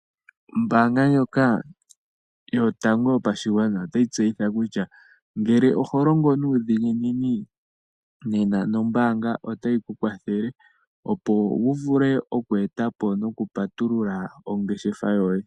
Ombaanga ndjoka yotango yopashigwana, otayi tseyitha kutya ngele oho longo nuudhiginini nombaanga nana nombaanga otayi ku kwathele opo wu vule oku eta po nokupatulula ongeshefa yoye.